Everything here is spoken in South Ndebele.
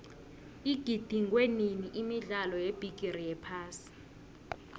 igidingwenini imidlalo yebigiri yephasi